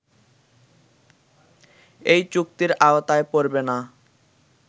এই চুক্তির আওতায় পরবে না